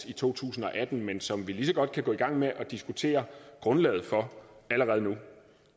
i to tusind og atten men som vi lige så godt kan gå i gang med at diskutere grundlaget for allerede nu